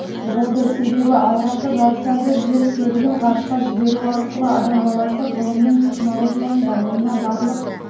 болды себебі алғашқы жасанды жер серігін ғарышқа жіберу арқылы адам баласы ғылымның технологияның дамуына барлық